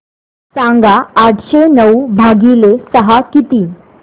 सांगा आठशे नऊ भागीले सहा किती